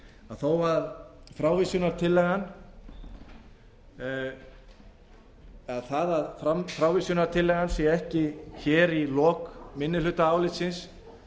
þó tekið fram í lokin að að frávísunartillagan sé ekki hér í kom minnihlutaálitsins